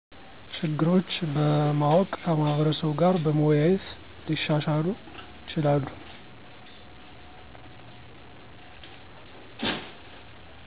ችግሮች በማወቅ ከማህበረሰቡ ጋር በመወያየት ሊሻሻሉ ይችላሉ።